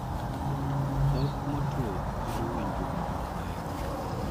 Dhok motwo kelo winjo ma ok ber.